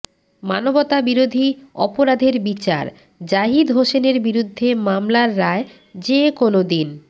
মানবতাবিরোধী অপরাধের বিচার জাহিদ হোসেনের বিরুদ্ধে মামলার রায় যেকোনো দিন